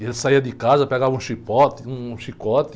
E ele saía de casa, pegava um chicote, um chicote